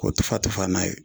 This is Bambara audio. Ko tufa-tufa n'a ye